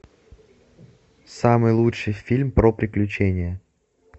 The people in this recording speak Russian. самый лучший фильм про приключения